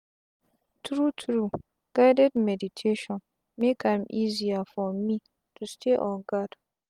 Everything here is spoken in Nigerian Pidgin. tru tru guided meditations make am easier for me to stay on gard.